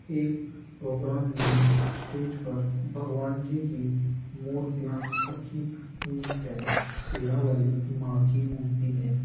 एक प्रोग्राम में स्टेज पर भगवान जी की मूर्तियां रखी हुई हैं । शेरावाली मां की मूर्ति है ।